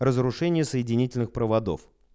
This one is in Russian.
разрушение соединительных проводов